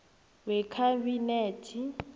wekhabinethe